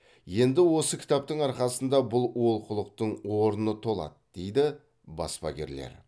енді осы кітаптың арқасында бұл олқылықтың орны толады дейді баспагерлер